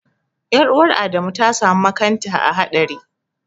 Ƴar'uwaf Adamu ta samu makanta haɗari.